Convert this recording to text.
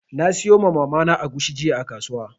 Na sayo ma Mama na agushi jiya a kasuwa.